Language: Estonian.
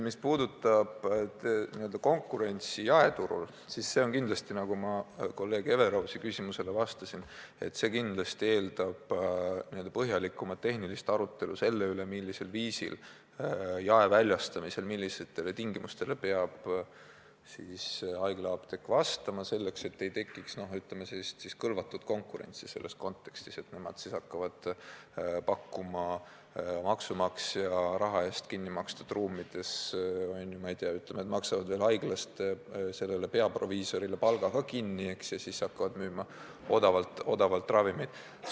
Mis puudutab konkurentsi jaeturul, siis see kindlasti, nagu ma kolleeg Everausi küsimusele vastates ütlesin, eeldab põhjalikumat tehnilist arutelu selle üle, millistele tingimustele peab haiglaapteek jaeväljastamisel vastama, et ei tekiks kõlvatut konkurentsi – selles mõttes, et nemad hakkavad kaupa pakkuma maksumaksja raha eest kinni makstud ruumides ja, ütleme, maksavad veel haigla rahaga peaproviisori palga ka kinni, kui seal ravimeid odavamalt müüvad.